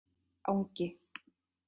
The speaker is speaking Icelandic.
Angi